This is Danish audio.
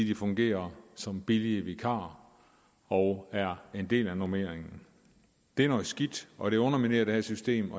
de fungerer som billige vikarer og er en del af normeringen det er noget skidt og det underminerer det her system